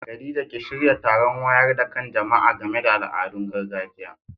Khadija ki shirya taron wayar da kan jama'a game da al'adun gargajiya.